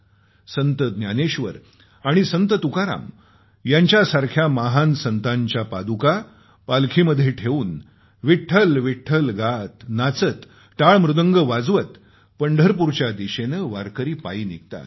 संत ज्ञानेश्वर आणि संत तुकाराम यांच्यासारख्या महान संतांच्या पादुका पालखीमध्ये ठेऊन विठ्ठल नामाचा गजर करत टाळ मृदुंग वाजवत पंढरपूरच्या दिशेने वारकरी पायी निघतात